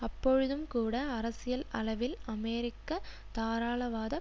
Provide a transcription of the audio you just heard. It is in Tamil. அப்பொழுதும் கூட அரசியல் அளவில் அமெரிக்க தாராளவாத